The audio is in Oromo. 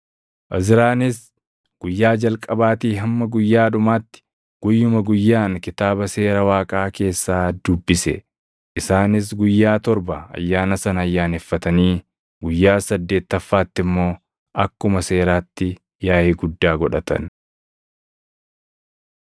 Izraanis guyyaa jalqabaatii hamma guyyaa dhumaatti guyyuma guyyaan Kitaaba Seera Waaqaa keessaa dubbise. Isaanis guyyaa torba ayyaana sana ayyaaneffatanii guyyaa saddeettaffaatti immoo akkuma seeraatti yaaʼii guddaa godhatan.